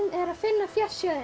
er að finna fjársjóðinn